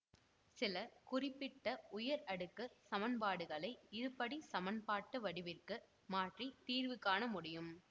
சில குறிப்பிட்ட உயர் அடுக்குச் சமன்பாடுகளை இருபடிச் சமன்பாட்டு வடிவிற்கு மாற்றி தீர்வு காண முடியும்